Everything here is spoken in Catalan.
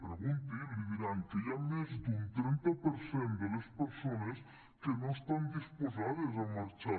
pregunti li diran que hi ha més d’un trenta per cent de les persones que no estan disposades a marxar